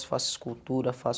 faço escultura, faço